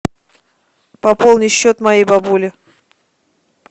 пополни счет моей бабули